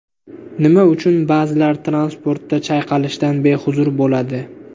Nima uchun ba’zilar transportda chayqalishdan behuzur bo‘ladi?.